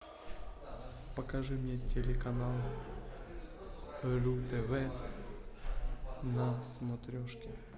покажи мне телеканал ру тв на смотрешке